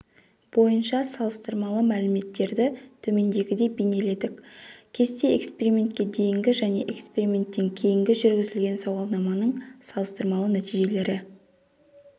бойынша салыстырмалы мәліметтерді төмендегідей бейнеледік кесте экспериментке дейінгі және эксперименттен кейінгі жүргізілген сауалнаманың салыстырмалы нәтижелері